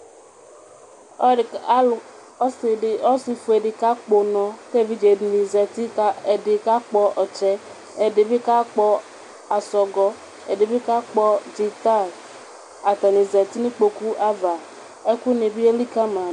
Ɔsifue di kakpɔ ʋnɔ, evidze dini zati kʋ ɛdi kakpɔ ɔtsɛ, ɛdibi kakpɔ asɔgɔ, ɛdibi kakpɔ dzita, atani zati nʋ ikpokʋ ava ɛkʋbi elikali ma dʋ